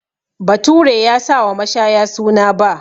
Bature ya sa wa mashaya suna 'Ba'